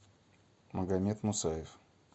магомед мусаев